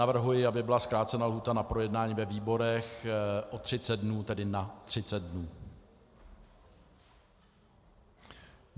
Navrhuji, aby byla zkrácena lhůta na projednání ve výborech o 30 dnů, tedy na 30 dnů.